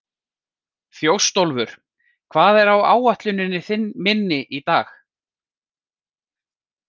Þjóstólfur, hvað er á áætluninni minni í dag?